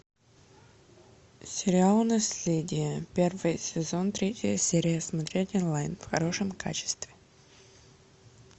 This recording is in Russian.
сериал наследие первый сезон третья серия смотреть онлайн в хорошем качестве